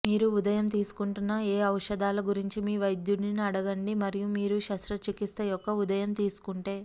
మీరు ఉదయం తీసుకుంటున్న ఏ ఔషధాల గురించి మీ వైద్యుడిని అడగండి మరియు మీరు శస్త్రచికిత్స యొక్క ఉదయం తీసుకుంటే